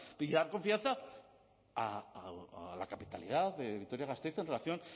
y dar confianza a la capitalidad de vitoria gasteiz en relación